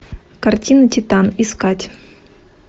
картина титан искать